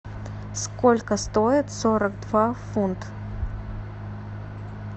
сколько стоит сорок два фунта